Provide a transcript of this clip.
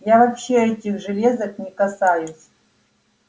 я вообще этих железок не касаюсь